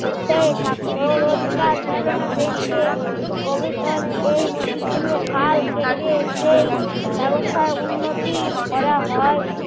সে থাকতো রোজকার চালানো বেন্তে এই নদী গুলোর খাল কেটে সেই ব্যবস্থা উন্নতি করা হয়